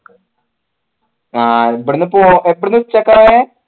ആ ഇവിടുന്ന് ഉച്ചക്ക പോയെ